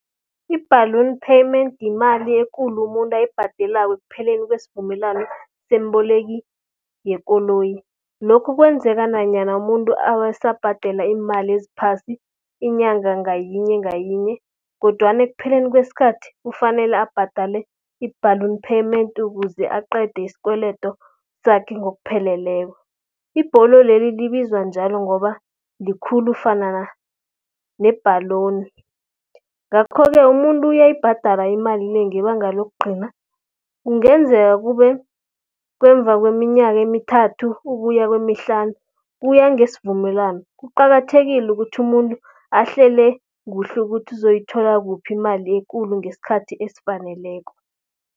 I-balloon payment yimali ekulu umuntu ayibhadelako ekupheleni kwesivumelwano semboleki yekoloyi. Lokhu kwenzeka nanyana umuntu asabhadela iimali eziphasi, inyanga ngayinye ngayinye. Kodwana ekupheleni kweskhathi, kufanele abhadale i-balloon payment ukuze aqede iskweledo sakhe ngokupheleleko. Ibholo leli, libizwa njalo ngoba likhulu fanana nebhaloni. Ngakho-ke umuntu uyayibhadala imali le, ngebanga lokugcina, kungenzeka kube ngemva kweminyaka emithathu ukuya kweemihlanu, kuya ngesivumelwano. Kuqakathekile ukuthi umuntu, ahlele kuhle ukuthi uzoyithola kuphi imali ekulu ngeskhathi esifaneleko.